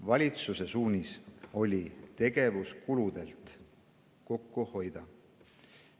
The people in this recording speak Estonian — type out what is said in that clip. Valitsuse suunis oli tegevuskuludelt kokku hoida.